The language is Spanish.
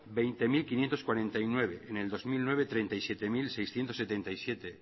hogei mila bostehun eta berrogeita bederatzi en el dos mil nueve treinta y siete mil seiscientos setenta y siete